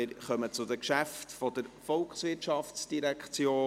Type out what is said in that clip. Wir kommen zu den Geschäften der VOL;